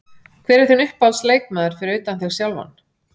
Hver er þinn uppáhalds leikmaður fyrir utan þig sjálfan?